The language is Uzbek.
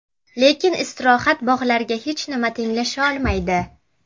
Lekin istirohat bog‘lariga hech nima tenglasha olmaydi.